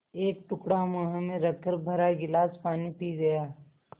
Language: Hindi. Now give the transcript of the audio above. एक टुकड़ा मुँह में रखकर भरा गिलास पानी पी गया